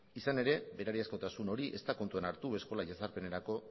izan ere berariazkotasun hori ez da kontutan hartu eskola jazarpenerako